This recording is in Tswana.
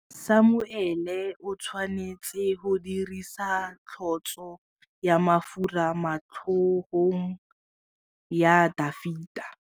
Samuele o tshwanetse go dirisa tlotsô ya mafura motlhôgong ya Dafita.